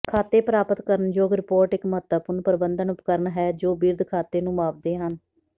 ਖਾਤੇ ਪ੍ਰਾਪਤ ਕਰਨਯੋਗ ਰਿਪੋਰਟ ਇੱਕ ਮਹੱਤਵਪੂਰਨ ਪ੍ਰਬੰਧਨ ਉਪਕਰਣ ਹੈ ਜੋ ਬਿਰਧ ਖਾਤੇ ਨੂੰ ਮਾਪਦੇ ਹਨ